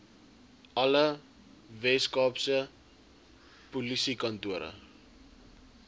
alle weskaapse polisiekantore